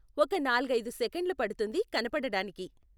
ఒక నాలుగైదు సెకండ్లు పడుతుంది కనపడటానికి.